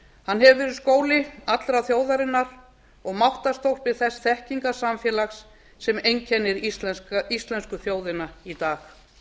hann hefur verið skóli allrar þjóðarinnar og máttarstólpi þess þekkingarsamfélags sem einkennir íslensku þjóðina í dag